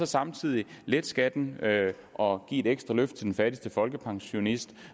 samtidig lette skatten og give et ekstra løft til den fattigste folkepensionist